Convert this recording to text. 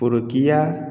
Forokiya